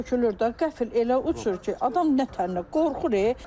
Uçur, tökülür də, qəfil elə uçur ki, adam nə tər qorxur.